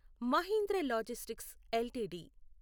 Mahindra logistics LTD